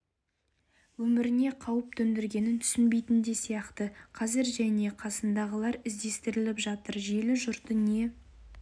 өміріне қауіп төндергенін түсінбейтін де сияқты қазір ол және қасындағылар іздестіріліп жатыр желі жұрты не